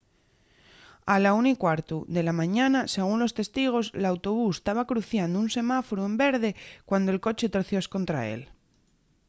a la 1:15 de la mañana según los testigos l’autobús taba cruciando un semáforu en verde cuando’l coche torció escontra él